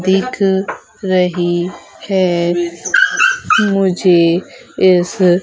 दिख रही है मुझे इस--